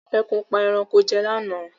Ẹkùn pa ẹranko jẹ lá náà